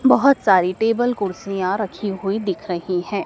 बहोत सारी टेबल कुर्सियां रखी हुई दिख रही है।